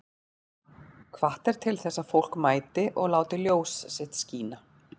Hvatt er til þess að fólk mæti og láti ljós sitt skína